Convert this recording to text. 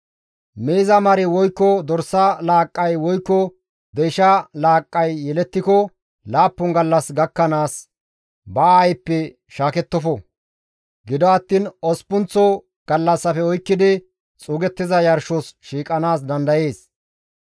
«Miiza mari woykko dorsa laaqqay woykko deysha laaqqay yelettiko laappun gallas gakkanaas ba aayppe shaakettofo; gido attiin osppunththa gallassafe oykkidi xuugettiza yarshos shiiqanaas dandayees.